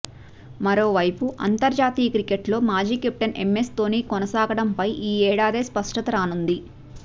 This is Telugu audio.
మరోవైపు అంతర్జాతీయ క్రికెట్లో మాజీ కెప్టెన్ ఎంఎస్ ధోనీ కొనసాగడంపై ఈ ఏడాదే స్పష్టత రానుంది